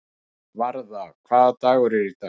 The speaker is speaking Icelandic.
Varða, hvaða dagur er í dag?